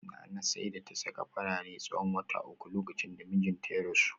Nana sai da ta saka farare tsawon wata uku lokacin da mijinta ya rasu